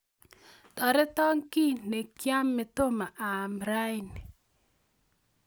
Torote kei ne kiame tomo aamkei raini